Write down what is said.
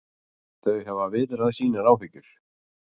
Þau hafa viðrað sínar áhyggjur